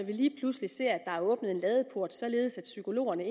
lige pludselig ser at der er åbnet en ladeport således at psykologerne